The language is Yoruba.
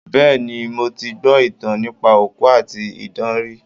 Bẹ́ẹ̀ni, mo ti gbọ́ ìtàn nípa òkú àti idán rí.